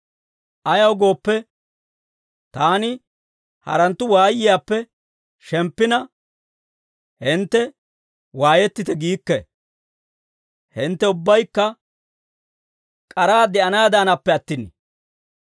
Ayaw gooppe, taani haranttu waayiyaappe shemppina, hintte waayettite giikke; hintte ubbaykka k'araa de'anaadanappe attin.